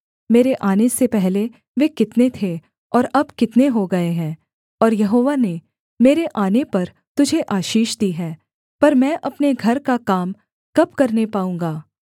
मेरे आने से पहले वे कितने थे और अब कितने हो गए हैं और यहोवा ने मेरे आने पर तुझे आशीष दी है पर मैं अपने घर का काम कब करने पाऊँगा